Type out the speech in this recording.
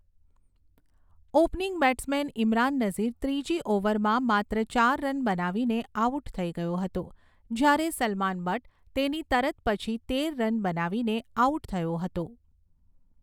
Opening batsman Imran Nazir ત્રીજી ઓવરમાં માત્ર ચાર રન બનાવીને આઉટ થઈ ગયો હતો, જ્યારે સલમાન બટ્ટ તેની તરત પછી તેર રન બનાવીને આઉટ થયો હતો.